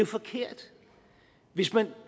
forkert hvis man